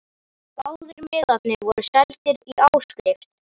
Báðir miðarnir voru seldir í áskrift